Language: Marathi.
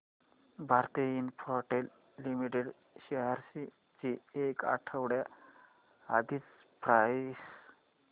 भारती इन्फ्राटेल लिमिटेड शेअर्स ची एक आठवड्या आधीची प्राइस